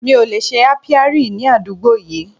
Mi ò lè ṣe Apiary ní àdúgbò yìí.